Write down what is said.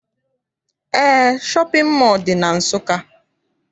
Eé, shọpịn mọọ dị na Nsụka.